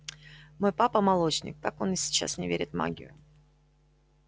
мой папа молочник так он и сейчас не верит в магию